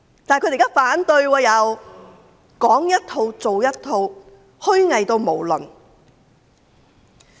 現在卻反對預算案，說一套做一套，極度虛偽。